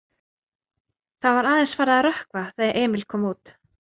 Það var aðeins farið að rökkva þegar Emil kom út.